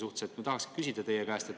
Ma tahaksin teie käest küsida järgmist.